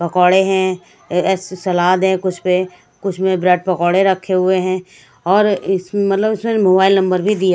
पकोड़े है एसे सलाद है कुछ पे कुछ में ब्रेड पकोड़े रखे हुए हैं और इस मतलब मोबाइल नंबर भी दिया--